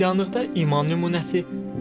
Xristianlıqda iman nümunəsi.